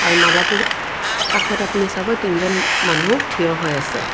R মালাটো কাষত আপুনি চাব তিনজন মানুহ থিয় হৈ আছে।